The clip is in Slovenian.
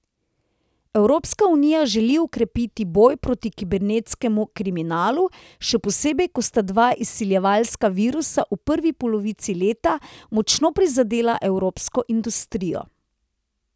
Evropska unija želi okrepiti boj proti kibernetskemu kriminalu, še posebej, ko sta dva izsiljevalska virusa v prvi polovici leta močno prizadela evropsko industrijo.